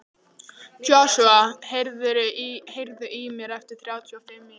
Joshua, heyrðu í mér eftir þrjátíu og fimm mínútur.